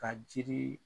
Ka jiri